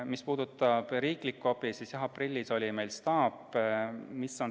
Mis puudutab riiklikku abi, siis aprillis oli meil staap.